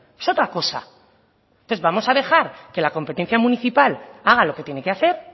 es otra cosa entonces vamos a dejar que la competencia municipal haga lo que tiene que hacer